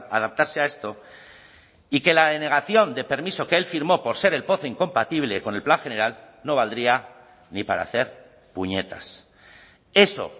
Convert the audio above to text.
adaptarse a esto y que la denegación de permiso que el firmó por ser el pozo incompatible con el plan general no valdría ni para hacer puñetas eso